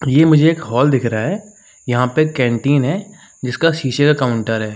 ये मुझे एक हॉल दिख रहा है। यहाँ पे एक कैंटीन है जिसका शीशे का काउंटर है।